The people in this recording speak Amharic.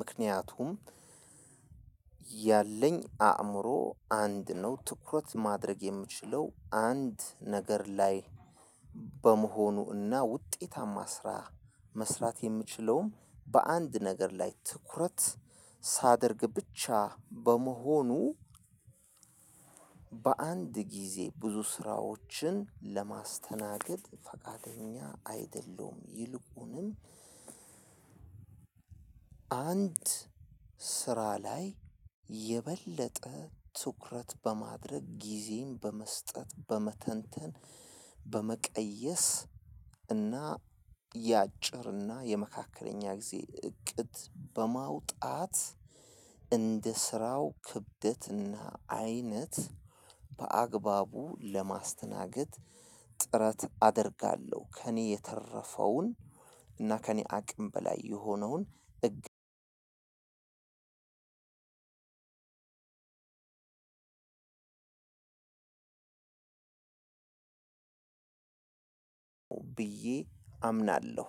ምክንያቱም ያለኝ አእምሮ አንድ ነው ትኩረት ማድረግ የምችለው አንድ ነገር ላይ በመሆኑ እና ውጤታማ ስራ መስራት የምችለውም በአንድ ነገር ላይ ትኩረት ሳደርግ ብቻ በመሆኑ። በአንድ ጊዜ ብዙ ስራዎችን ለማስተናገድ ፈቃደኛ አይደለሁም። ይልቁንም አንድ ስራ ላይ የበለጠ ትኩረት በማድረግ ጊዜን በመስጠት በመተንተን በመቀየስ እና የአጭር እና የመካከለኛ ጊዜ እቅድ በማውጣት እንደ ስራው ክብደትና አይነት በአግባቡ ለማስተናገድ ጥረት አደርጋለሁ። ከእኔ የተረፈውን እና ከእኔ አቅም በላይ የሆነውን እግር አንድ ብዬ አምናለሁ